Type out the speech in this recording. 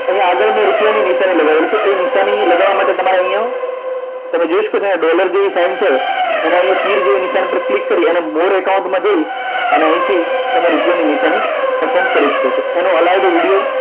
અહીંયા આગળ રૂપિયા નિશાની લગાવવાની છે એ નિશાની લગાવવા માટે અહીંયા તમે જોઈ શકો છો અહીંયા ડોલર જેવી સાઇન છે તે જેવી નિશાની પર ક્લિક કરી અને more account માં જઈ અને અહીંથી તમે રૂપિયાની નિશાની પસંદ કરી શકો છો એનો allowed video